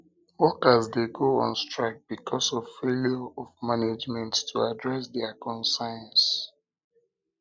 workers dey go on strike because of failure of management to address dia concerns